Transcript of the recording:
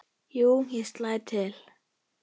Jú, ég slæ til